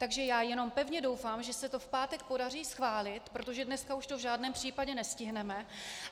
Takže já jenom pevně doufám, že se to v pátek podaří schválit, protože dneska už to v žádném případě nestihneme.